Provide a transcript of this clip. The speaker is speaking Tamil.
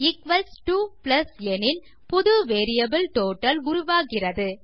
ஈக்வல்ஸ் டோ பிளஸ் எனில் புது வேரியபிள் டோட்டல் உருவாகிறது